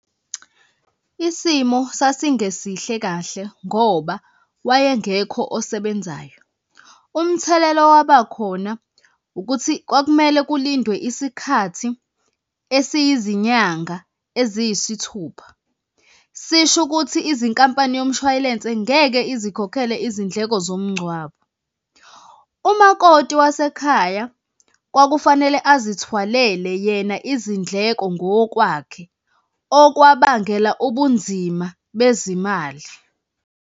Isimo sasingesihle kahle ngoba wayengekho osebenzayo. Umthelela owaba khona ukuthi kwakumele kulindwe isikhathi esiyizinyanga eziyisithupha. Sisho ukuthi izinkampani yomshwalense ngeke izikhokhele izindleko zomngcwabo. Umakoti wasekhaya kwakufanele azithwalele yena izindleko ngokwakhe, okwabangela ubunzima bezimali.